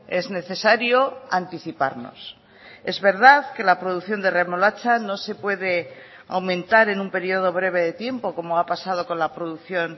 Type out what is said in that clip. es necesario anticiparnos es verdad que la producción de remolacha no se puede aumentar en un periodo breve de tiempo como ha pasado con la producción